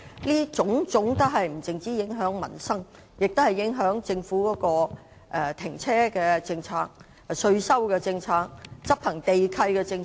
這種種問題不僅影響民生，還會影響政府的停車場政策、稅收政策和執行地契的政策。